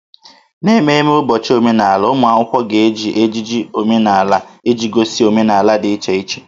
N'ememme ụbọchị omenala, ụmụ akwụkwọ na-eji ejiji omenala iji gosi omenala dị iche iche